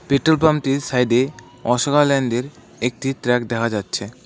Petrol পাম্পটির সাইডে অশোক লা ল্যান্ডের একটি ট্রাক দেখা যাচ্ছে।